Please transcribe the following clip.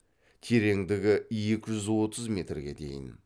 тереңдігі екі жүз отыз метрге дейін